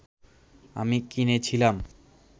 আমি কিনেছিলাম